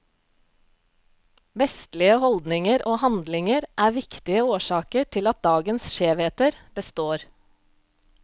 Vestlige holdninger og handlinger er viktige årsaker til at dagens skjevheter består.